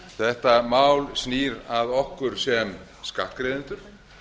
þetta mál snýr að okkur sem skattgreiðendum